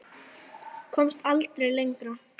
Komst aldrei lengra.